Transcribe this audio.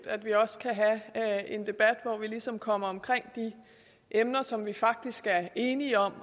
at vi også kan have en debat hvor vi ligesom kommer omkring de emner som vi faktisk er enige om